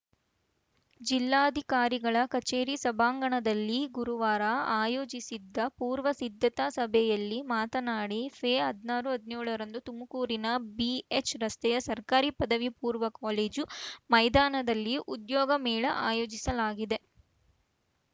ಜಿಲ್ಲಾಧಿಕಾರಿಗಳ ಕಚೇರಿ ಸಭಾಂಗಣದಲ್ಲಿ ಗುರುವಾರ ಆಯೋಜಿಸಿದ್ದ ಪೂರ್ವ ಸಿದ್ಧತಾ ಸಭೆಯಲ್ಲಿ ಮಾತನಾಡಿ ಫೆಹದ್ ನಾರು ಹದ್ನೇಳರಂದು ತುಮಕೂರಿನ ಬಿಎಚ್‌ರಸ್ತೆಯ ಸರ್ಕಾರಿ ಪದವಿ ಪೂರ್ವ ಕಾಲೇಜು ಮೈದಾನದಲ್ಲಿ ಉದ್ಯೋಗ ಮೇಳ ಆಯೋಜಿಸಲಾಗಿದೆ